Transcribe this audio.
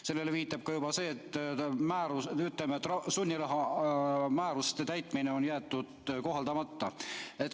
Sellele viitab ka see, et sunniraha määruste täitmine on jäetud kohaldamata.